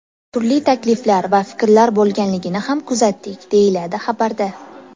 Turli takliflar va fikrlar bo‘lganligini ham kuzatdik, deyiladi xabarda.